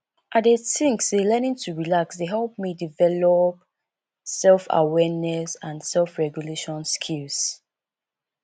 i dey think say learning to relax dey help me develop selfawareness and selfregulation skills